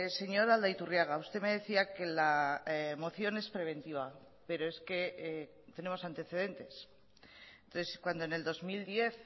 señor aldaiturriaga usted me decía que la moción es preventiva pero es que tenemos antecedentes entonces cuando en el dos mil diez